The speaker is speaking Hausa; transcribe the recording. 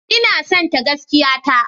Ina sonta gaskiya ta.